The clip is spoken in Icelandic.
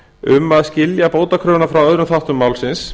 um að skilja bótakröfuna frá öðrum þáttum málsins